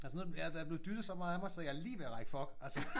Altså nu er ja der er blevet dyttet så meget af mig så jeg er lige ved at række fuck altså